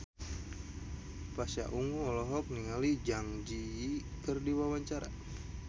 Pasha Ungu olohok ningali Zang Zi Yi keur diwawancara